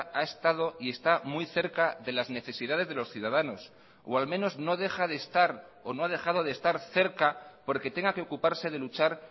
ha estado y está muy cerca de las necesidades de los ciudadanos o al menos no deja de estar o no ha dejado de estar cerca porque tenga que ocuparse de luchar